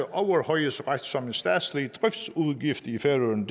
overhøjhedsret som en statslig driftsudgift i færøerne